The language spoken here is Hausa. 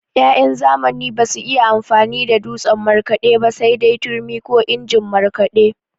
Ya'yan zamani basu iya amfani da dutsen markaɗe ba sai dai turmi ko injin markaɗe.